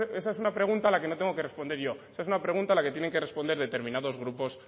esa es una pregunta a la que no tengo que responder yo es una pregunta a la que tienen que responder determinados grupos